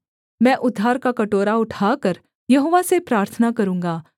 मैं उद्धार का कटोरा उठाकर यहोवा से प्रार्थना करूँगा